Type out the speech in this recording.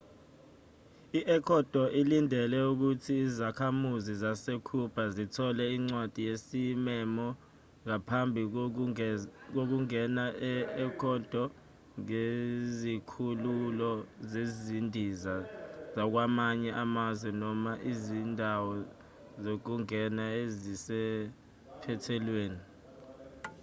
i-ecuador ilindele ukuthi izakhamuzi zase-cuba zithole incwadi yesimemo ngaphambi kokungena e-ecuadore ngezikhululo zezindiza zakwamanye amazwe noma izindawo zokungena ezisephethelweni